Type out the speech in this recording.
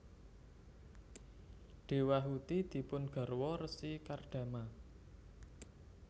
Dewahuti dipun garwa Resi Kardama